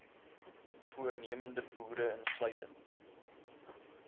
voornemende boere insluitend